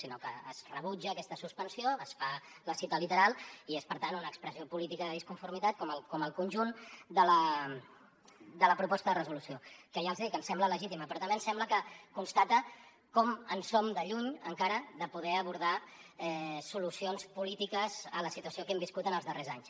sinó que es rebutja aquesta suspensió es fa la cita literal i és per tant una expressió política de disconformitat com el conjunt de la proposta de resolució que ja els he dit que ens sembla legítima però també ens sembla que constata com som de lluny encara de poder abordar solucions polítiques a la situació que hem viscut en els darrers anys